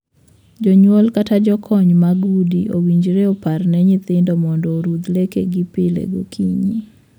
Jonyuol kata jokony mag udi owinjore opar ne nyithindo mondo orudh lekegi pile gokinyi.